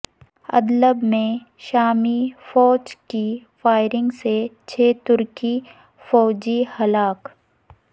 Idlib میں شامی فوج کی فائرنگ سے چھ ترک فوجی ہلاک